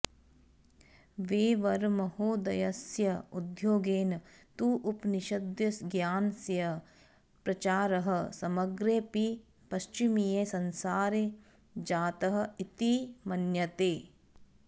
वेवरमहोदयस्य उद्योगेन तु उपनिषद्ज्ञानस्य प्रचारः समग्रेऽपि पश्चिमीये संसारे जातः इति मन्यते